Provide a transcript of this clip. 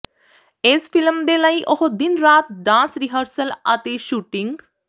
ਇਸ ਫਿਲਮ ਦੇ ਲਈ ਉਹ ਦਿਨ ਰਾਤ ਡਾਂਸ ਰਿਹਰਸਲ ਅਤੇ ਸ਼ੂਟਿੰਗ